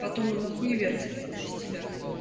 потом на хуевертит без тебя